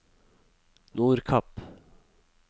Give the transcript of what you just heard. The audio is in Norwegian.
Nordkapp